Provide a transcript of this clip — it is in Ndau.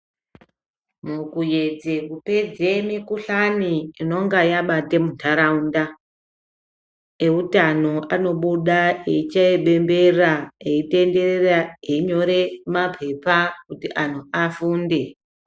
Mukuyedze kupedze mikhuhlane inonge yabata muntaraunda, eutano anobuda eichaye bembera eitenderera einyore maphepa kuti antu afunde.